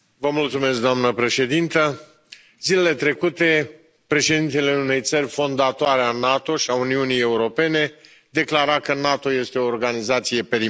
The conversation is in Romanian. Doamnă președintă, zilele trecute, președintele unei țări fondatoare a NATO și a Uniunii Europene declara că NATO este o organizație perimată.